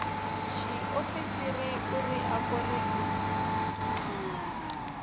tshiofisi uri a kone u